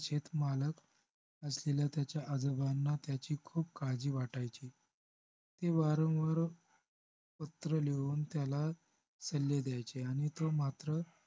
शेतमालक असलेल्या त्याच्या आजोबांना त्याची खूप काळजी वाटायची ते वारंवार पत्र लिहून त्याला सल्ले द्यायचे आणि तो मात्र